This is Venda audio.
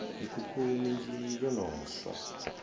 mikhukhu minzhi yo no swa